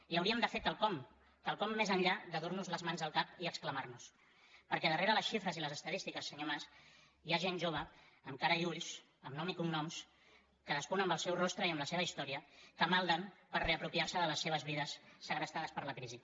i hauríem de fer quelcom quelcom més enllà de dur nos les mans al cap i exclamar nos perquè darrere les xifres i les estadístiques senyor mas hi ha gent jove amb cara i ulls amb nom i cognoms cadascun amb el seu rostre i amb la seva història que malden per reapropiar se de les seves vides segrestades per la crisi